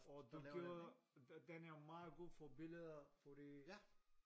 Og du gør den er meget god for billeder fordi